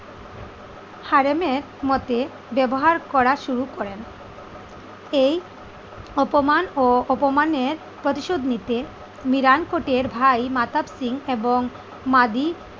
Harem এর মতে ব্যবহার করা শুরু করেন। এই অপমান ও অপমানের প্রতিশোধ নিতে মিরান কোটের ভাই মাতাব সিং এবং মাদি